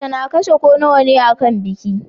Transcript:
Mace na kashe ko nawane akan biki